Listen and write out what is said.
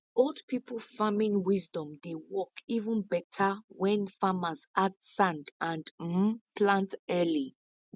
old people farming wisdom dey work even better when farmers add sand and um plant early